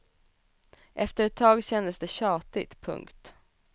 Efter ett tag kändes det tjatigt. punkt